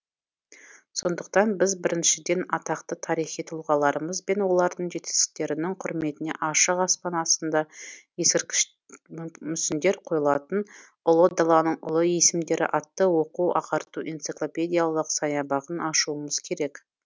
сондықтан біз біріншіден атақты тарихи тұлғаларымыз бен олардың жетістіктерінің құрметіне ашық аспан астында ескерткіш мүсіндер қойылатын ұлы даланың ұлы есімдері атты оқу ағарту энциклопедиялық саябағын ашуымыз керек